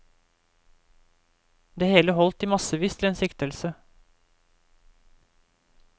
Det hele holdt i massevis til en siktelse.